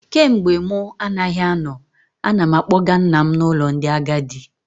Kemgbe mụ anaghị anọ, ana m akpọga nna m n'ụlọ ndị agadi